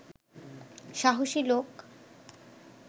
সাহসী লোক